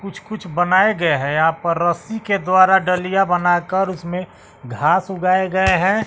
कुछ कुछ बनाए गए हैं यहां पर रस्सी के द्वारा डलिया बनाकर उसमें घास उगाए गए हैं।